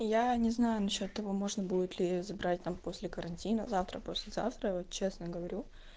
я не знаю насчёт того можно будет ли забрать там после карантина завтра послезавтра честно говорю